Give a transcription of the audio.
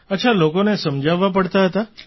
અચ્છા લોકોને સમજાવવા પડતા હતા